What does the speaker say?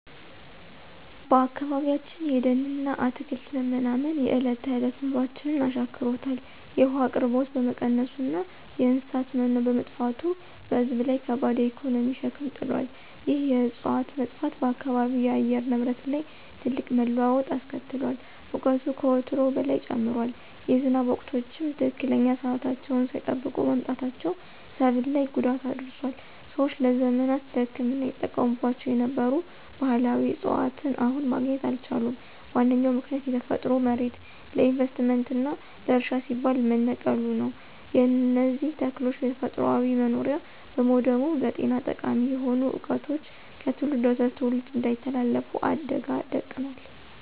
በአካባቢያችን የደንና አትክልት መመናመን የዕለት ተዕለት ኑሯችንን አሻክሮታል። የውሃ አቅርቦት በመቀነሱና የእንስሳት መኖ በመጥፋቱ በሕዝብ ላይ ከባድ የኢኮኖሚ ሸክም ጥሏል። ይህ የዕፅዋት መጥፋት በአካባቢው የአየር ንብረት ላይ ትልቅ መለዋወጥ አስከትሏል። ሙቀቱ ከወትሮው በላይ ጨምሯል፤ የዝናብ ወቅቶችም ትክክለኛ ሰዓታቸውን ሳይጠብቁ መምጣታቸው ሰብል ላይ ጉዳት አድርሷል። ሰዎች ለዘመናት ለሕክምና ይጠቀሙባቸው የነበሩ ባሕላዊ ዕፅዋትን አሁን ማግኘት አልቻሉም። ዋነኛው ምክንያት የተፈጥሮ መሬት ለኢንቨስትመንትና ለእርሻ ሲባል መነቀሉ ነው። የእነዚህ ተክሎች ተፈጥሯዊ መኖሪያ በመውደሙም ለጤና ጠቃሚ የሆኑ ዕውቀቶች ከትውልድ ወደ ትውልድ እንዳይተላለፉ አደጋ ደቅኗል።